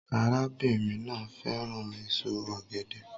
Arábìnrin náà fẹ́ràn èso ọ̀gẹ̀dẹ̀